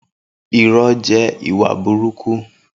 Irọ jẹ ìwá búrùkú